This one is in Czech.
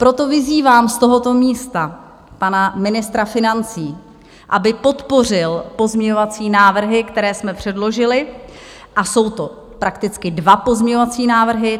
Proto vyzývám z tohoto místa pana ministra financí, aby podpořil pozměňovací návrhy, které jsme předložili, a jsou to prakticky dva pozměňovací návrhy.